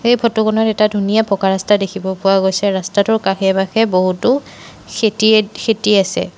এই ফটো খনত এটা ধুনীয়া পকা ৰাস্তা দেখিব পোৱা গৈছে ৰাস্তাটোৰ কাষে পাশে বহুতো সেতি খেতি আছে।